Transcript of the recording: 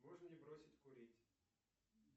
можно ли бросить курить